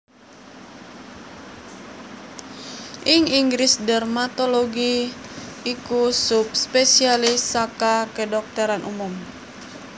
Ing Inggris dermatologi iku subspesialis saka kedhokteran umum